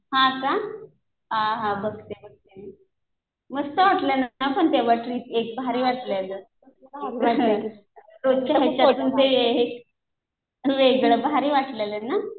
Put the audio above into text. हा का. हा हा. बघते बघते. मस्त वाटलं पण ते ट्रिप एक भारी वाटलेलं. खूप मजा आली. रोजच्यापेक्षा ते वेगळं भारी वाटलेलं ना.